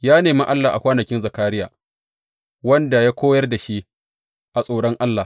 Ya nemi Allah a kwanakin Zakariya, wanda ya koyar da shi a tsoron Allah.